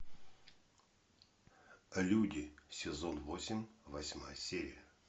люди сезон восемь восьмая серия